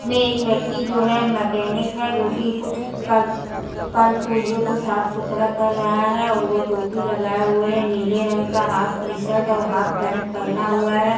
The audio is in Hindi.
में एक व्यक्ति जो है मैंकेनिक है जोकि कुछ कल कलपुर्जो को साफ सुथरा कर रहा है और वो टोपी लगाए हुए हैं नीले रंग का हाफ टी-शर्ट और हाफ पैंट पहना हुआ है।